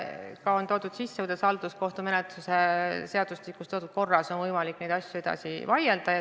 Ka on kirjas, kuidas halduskohtumenetluse seadustikus toodud korras on võimalik neid asju edasi vaielda.